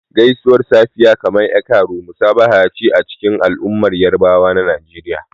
Gaisuwar safiya, kamar "E kaaro," musabaha ce a cikin al'ummar Yarabawa na Najeriya.